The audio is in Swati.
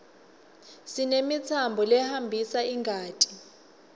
sinemitsambo lehambisa ingati